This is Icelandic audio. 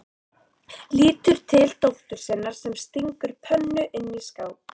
Lítur til dóttur sinnar sem stingur pönnu inn í skáp.